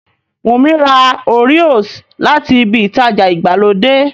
Wùnmí ra Oreos láti ibi ìtajà ìgbàlódé